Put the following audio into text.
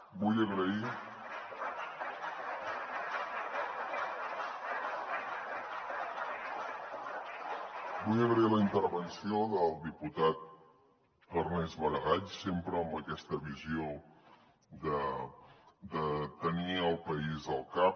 vull agrair la intervenció del diputat ernest maragall sempre amb aquesta visió de tenir el país al cap